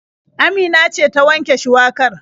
Amina ce ta wanke shuwakar.